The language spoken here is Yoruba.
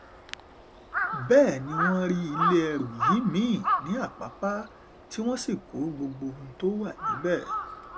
àfìgbà tí wọ́n kó gbogbo oúnjẹ tó wà níbẹ̀ tán ní ọjọ́ àbámẹ́ta ọjọ́ àbámẹ́ta kí wọ́n tóó kúrò níbẹ̀